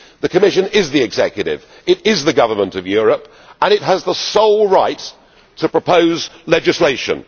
The Commission is the executive. It is the government of Europe and it has the sole right to propose legislation.